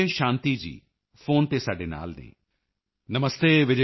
sir ਮੈਂ ਹੁਣ ਵੀ 30 ਮਹਿਲਾਵਾਂ ਦੇ ਨਾਲ ਕੰਮ ਕਰ ਰਹੀ ਹਾਂ sir still working along with my 30 woman